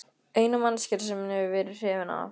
Eina manneskjan sem hann hefur verið hrifinn af.